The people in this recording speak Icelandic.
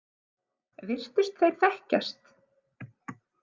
Virtust þeir þekkjast?